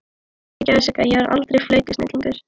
Fyrirgefðu Sigga, ég verð aldrei flautusnillingur.